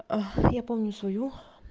я помню свою